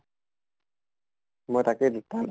মই তাকে তাৰ